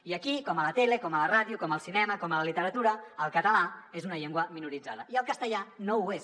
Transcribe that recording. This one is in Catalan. i aquí com a la tele com a la ràdio com al cinema com a la literatura el català és una llengua minoritzada i el castellà no ho és